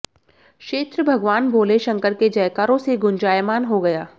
क्षेत्र भगवान भोले शंकर के जयकारों से गुंजायमान हो गया